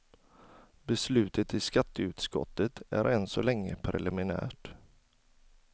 Beslutet i skatteutskottet är än så länge preliminärt.